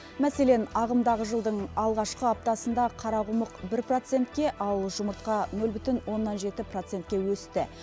мәселен ағымдағы жылдың алғашқы аптасында қарақұмық бір процентке ал жұмыртқа нөл бүтін оннан жеті процентке өсті